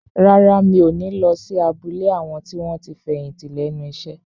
Rárá, mi ò ní lọ sí abúlé àwọn tí wọ́n ti fẹ̀yìntì lẹ́nu iṣẹ́